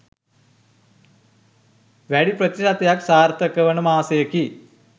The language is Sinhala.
වැඩි ප්‍රතිශතයක් සාර්ථක වන මාසයකි.